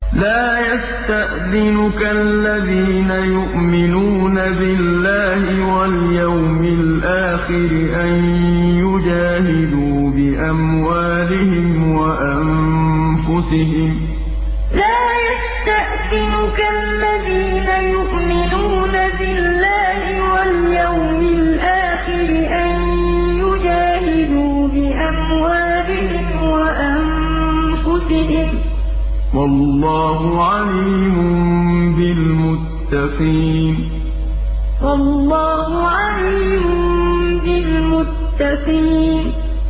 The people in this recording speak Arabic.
لَا يَسْتَأْذِنُكَ الَّذِينَ يُؤْمِنُونَ بِاللَّهِ وَالْيَوْمِ الْآخِرِ أَن يُجَاهِدُوا بِأَمْوَالِهِمْ وَأَنفُسِهِمْ ۗ وَاللَّهُ عَلِيمٌ بِالْمُتَّقِينَ لَا يَسْتَأْذِنُكَ الَّذِينَ يُؤْمِنُونَ بِاللَّهِ وَالْيَوْمِ الْآخِرِ أَن يُجَاهِدُوا بِأَمْوَالِهِمْ وَأَنفُسِهِمْ ۗ وَاللَّهُ عَلِيمٌ بِالْمُتَّقِينَ